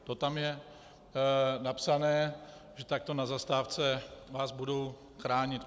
To tam je napsané, že takto na zastávce vás budou chránit.